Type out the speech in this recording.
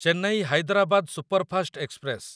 Chennai Hyderabad superfast express